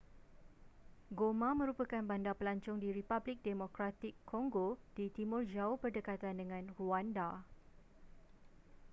goma merupakan bandar pelancong di republik demokratik congo di timur jauh berdekatan dengan rwanda